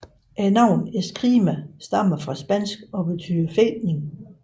Navnet Escrima stammer fra spansk og betyder fægtning